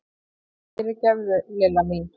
Fyrirgefðu, Lilla mín!